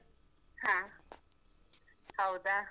ಹ, ಹೌದಾ?